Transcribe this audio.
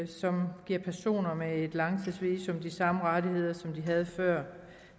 som giver personer med et langtidsvisum de samme rettigheder som de havde før